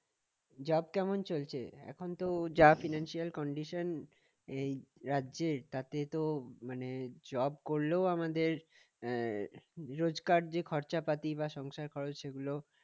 job কেমন চলছে? এখন তো যা financial condition এই রাজ্যের তাতে তো মানে job করলেও আমাদের আহ রোজকার যে খরচাপাতি বা সংসার খরচ সেগুলো